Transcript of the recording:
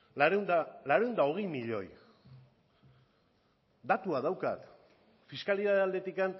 laurehun eta hogei milioi datua daukat fiskalitatea aldetik